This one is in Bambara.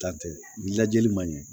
Dan tɛ ni lajɛli ma ɲɛ